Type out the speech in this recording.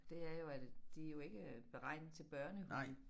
Det er jo at de jo ikke beregnet til børnehud